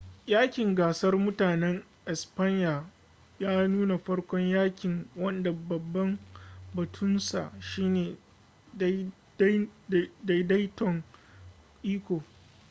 yaƙin gasar mutanen espanya ya nuna farkon yaƙin wanda babban batunsa shine daidaiton iko